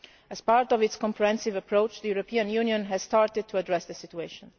As part of its comprehensive approach the European Union has started to address the situation.